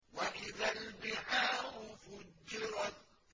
وَإِذَا الْبِحَارُ فُجِّرَتْ